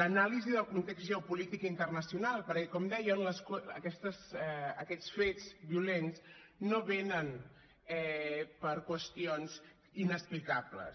l’anàlisi del context geopolític internacional perquè com deien aquests fets violents no venen per qüestions inexplicables